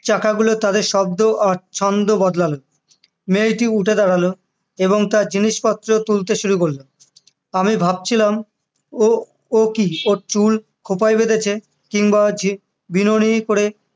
চাকাগুলো তাদের শব্দ আর ছন্দ বদলালো মেয়েটি উঠে দাঁড়ালো এবং তার জিনিসপত্র তুলতে শুরু করলো আমি ভাবছিলাম ও ও কি ওর চুল খোঁপায় বেঁধেছে কিংবা যে বিনোনি করে